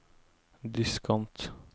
diskant